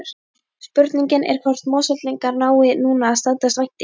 Spurningin er hvort Mosfellingar nái núna að standast væntingarnar?